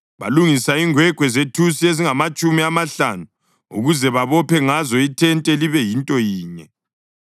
Balungisa ingwegwe zethusi ezingamatshumi amahlanu ukuze babophe ngazo ithente libe yinto yinye.